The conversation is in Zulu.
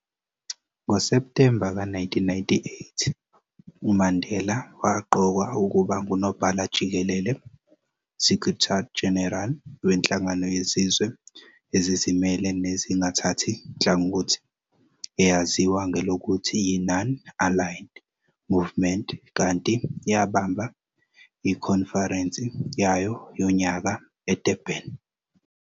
NgoSeptemba ka 1998, uMandela waqokwa ukuba ngunobhala-jikelele, Secretary-General, wenhlangano yezizwe ezizimele nezingathathi nhlangothi eyaziwa ngelokuthi yi-Non-Aligned Movement, kanti yabamba ikhonferense yayo yonyaka eDurban.